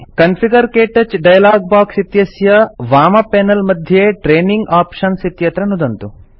configure - क्तौच dialogue box इत्यस्य वामपैनल मध्ये ट्रेनिंग आप्शन्स् इत्यत्र नुदन्तु